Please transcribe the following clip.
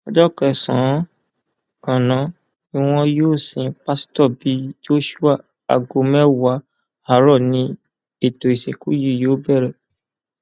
ọjọ kẹsànán ganan ni wọn yóò sin pásítọ bí joshua aago mẹwàá àárọ ni ètò ìsìnkú yìí yóò bẹrẹ